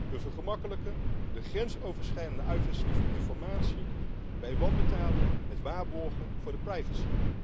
We vergemakkelijken de grensoverschrijdende uitwisseling van informatie bij wanbetaling met waarborgen voor de privacy.